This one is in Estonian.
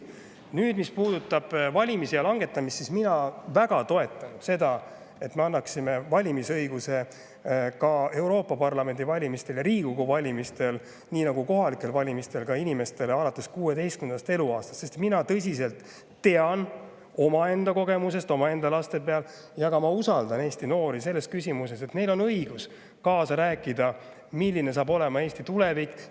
Nüüd, mis puudutab valimisea langetamist, siis mina väga toetan seda, et me annaksime valimisõiguse ka Euroopa Parlamendi valimistel ja Riigikogu valimistel, nii nagu kohalikel valimistel, inimestele alates 16. eluaastast, sest mina tõsiselt tean omaenda kogemusest, omaenda laste pealt, et neil on õigus kaasa rääkida, kes istuvad siin saalis ja milline saab olema Eesti tulevik.